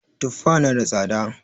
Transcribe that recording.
Tufa na da tsada